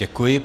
Děkuji.